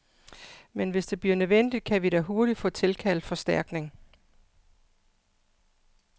Men hvis det bliver nødvendigt, kan vi da hurtigt få tilkaldt forstærkning.